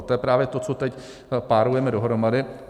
A to je právě to, co teď párujeme dohromady.